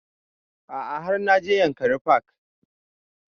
A'a har na je yankari park